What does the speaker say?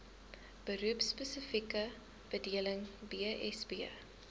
beroepspesifieke bedeling bsb